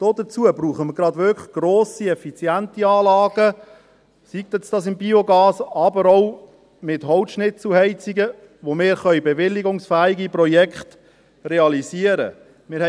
Dazu brauchen wir wirklich grosse, effiziente Anlagen – sei dies mit Biogas, aber auch mit Holzschnitzelheizungen –, für die wir bewilligungsfähige Projekte realisieren können müssen.